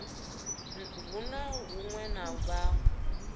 hu na huṅwe hune vha